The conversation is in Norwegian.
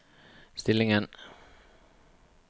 stillingen